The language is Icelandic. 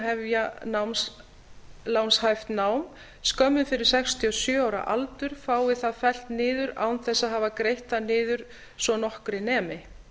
hefja námslánshæft nám skömmu fyrir sextíu og sjö ára aldur fá það fellt niður án þess að hafa greitt það niður svo nokkru nemi